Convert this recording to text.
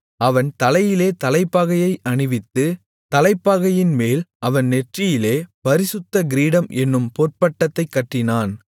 அவன் தலையிலே தலைப்பாகையை அணிவித்து தலைப்பாகையின்மேல் அவன் நெற்றியிலே பரிசுத்த கிரீடம் என்னும் பொற்பட்டத்தைக் கட்டினான்